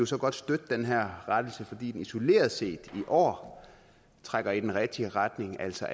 så godt støtte den her rettelse fordi den isoleret set i år trækker i den rigtige retning altså